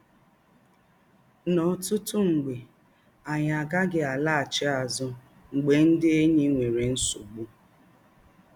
N’ọ́tụ̀tụ̀ ebe, ányị̀ agàghị̀ àlàghàchí àzụ̀ mgbè ndị̀ ényí nwèrè nsọ̀gbù